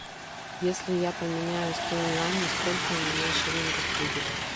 если я поменяю сто юаней сколько у меня шиллингов будет